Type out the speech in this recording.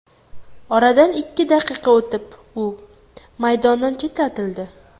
Oradan ikki daqiqa o‘tib, u maydondan chetlatildi.